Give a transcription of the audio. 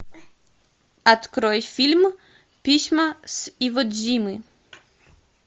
открой фильм письма с иводзимы